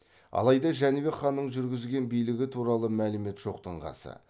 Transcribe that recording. алайда жәнібек ханның жүргізген билігі туралы мәлімет жоқтың қасы